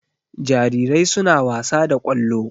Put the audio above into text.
Jarirai suna wasa da ƙwallo.